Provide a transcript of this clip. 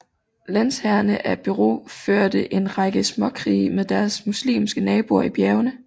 Lensherrene af Beirut førte en række småkrige med deres muslimske naboer i bjergene